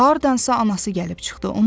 Hardansa anası gəlib çıxdı.